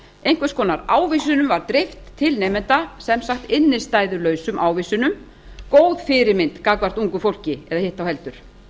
einhvers konar ávísunum var dreift til nemenda sem sagt innstæðulausum ávísunum góð fyrirmynd fyrir ungt fólk eða hitt þá heldur